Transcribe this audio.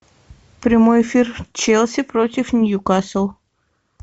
прямой эфир челси против ньюкасл